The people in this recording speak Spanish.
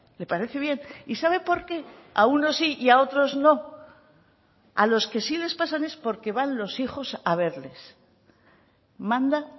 le parece bien y sabe por qué a unos sí y a otros no a los que sí les pasan es porque van los hijos a verles manda